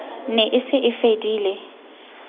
ne e se e fedile